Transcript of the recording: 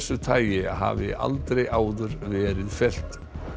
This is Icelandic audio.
tagi hafi aldrei áður verið fellt